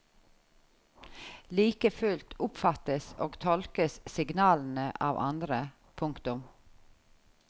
Like fullt oppfattes og tolkes signalene av andre. punktum